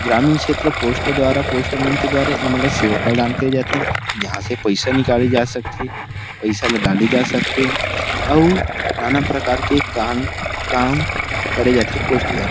ग्रामीण क्षेत्र पोस्ट द्वारा पोस्ट मन के द्वारा सेवा प्रदान करे जाथे जहाँ से पैसा निकाले जा सक थे पैसा ला दे जा थे अउ नाना प्रकार के काम करे जा थे पोस्ट द्वारा--